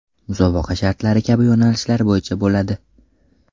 Musobaqa shartlari kabi yo‘nalishlar bo‘yicha bo‘ladi.